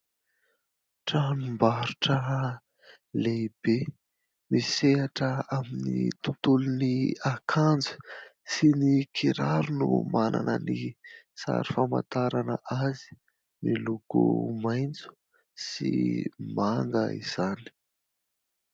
Tranombarotra lehibe misehatra amin'ny tontolon'ny akanjo sy ny kiraro no manana ny sary famantarana azy, miloko maitso sy manga izany.